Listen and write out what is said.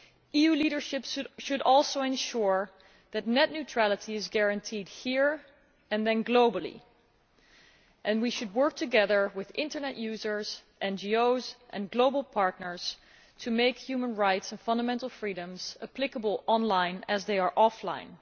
EU leadership should also ensure that net neutrality is guaranteed here and then globally, and we should work together with internet users, NGOs and global partners to make human rights and fundamental freedoms applicable online as they are offline.